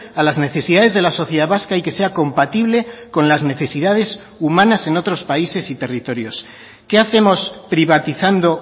a las necesidades de la sociedad vasca y que sea compatible con las necesidades humanas en otros países y territorios qué hacemos privatizando